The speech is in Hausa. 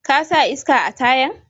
Ka sa iska a tayan?